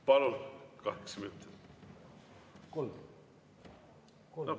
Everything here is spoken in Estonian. Palun, kaheksa minutit!